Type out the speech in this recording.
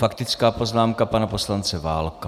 Faktická poznámka pana poslance Válka.